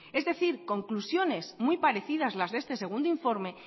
es decir conclusiones muy parecidas las de este segundo informe